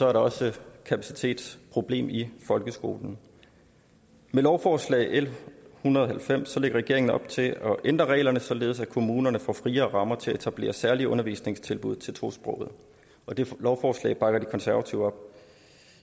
er der også et kapacitetsproblem i folkeskolen med lovforslag l en hundrede og halvfems lægger regeringen op til at ændre reglerne således at kommunerne får friere rammer til at etablere særlige undervisningstilbud til tosprogede og det lovforslag bakker de konservative op